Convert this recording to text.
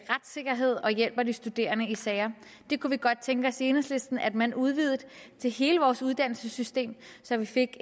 retssikkerhed og hjælper de studerende i sager det kunne vi godt tænke os i enhedslisten at man udvidede til hele vores uddannelsessystem så vi fik